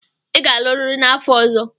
Ị ga-alụrịrị n'afọ ọzọ.